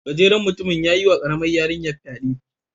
Gajeren mutumin yayi wa karamar yarinya fyade.